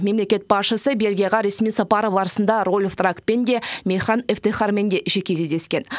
мемлекет басшысы бельгияға ресми сапары барысында рольф драакпен де мехран эфтехармен де жеке кездескен